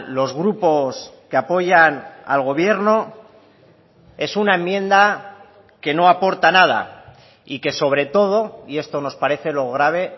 los grupos que apoyan al gobierno es una enmienda que no aporta nada y que sobre todo y esto nos parece lo grave